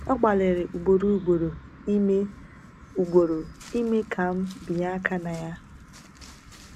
Ọ gbalịrị ugboro ugboro ime ugboro ime ka m bịanye aka na ya.